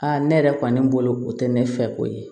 ne yɛrɛ kɔni bolo o tɛ ne fɛ ko ye